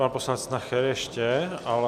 Pan poslanec Nacher ještě, ale...